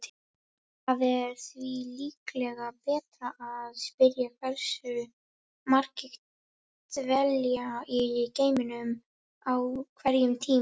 Það er því líklega betra að spyrja hversu margir dvelja í geimnum á hverjum tíma.